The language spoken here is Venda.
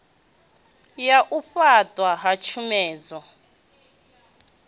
ya u fhaṱwa ha tshomedzo